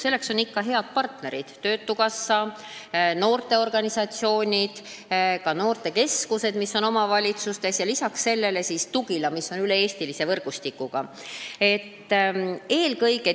Selleks on ikka head partnerid: töötukassa, noorteorganisatsioonid, noortekeskused omavalitsustes ja lisaks veel üle-eestilise võrgustikuga Tugila.